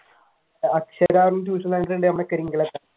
അക്ഷര എന്നുള്ള tuition center